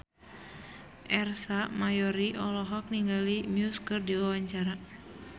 Ersa Mayori olohok ningali Muse keur diwawancara